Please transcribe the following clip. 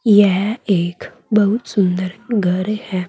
यह एक बहुत सुंदर घर है।